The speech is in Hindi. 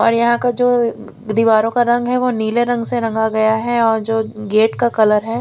और यहां का जो दीवारों का रंग है वो नीले रंग से रंगा गया है और जो गेट का कलर है।